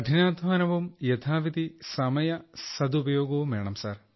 hard work and proper time utilisation